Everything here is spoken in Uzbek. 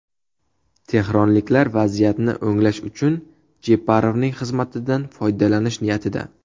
Tehronliklar vaziyatni o‘nglash uchun Jeparovning xizmatidan foydalanish niyatida.